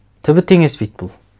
түбі теңеспейді бұл